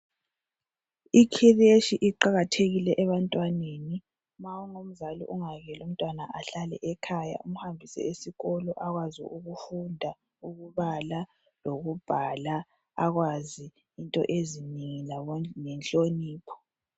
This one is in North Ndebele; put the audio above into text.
Ikhireshi iqakatheki ebantwaneni ma ungumzali ungayekeli umntwana ahlale ekhaya umhambise esikolo akwazi ukufunda, ukubala, ukubhala akwazi into ezinengi lenhlonipho.